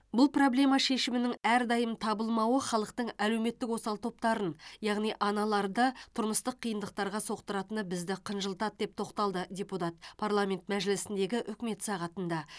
бұл проблема шешімінің әрдайым табылмауы халықтың әлеуметтік осал топтарын яғни аналарды тұрмыстық қиындықтарға соқтыратыны бізді қынжылтады деп тоқталды депутат парламент мәжілісіндегі үкімет сағатында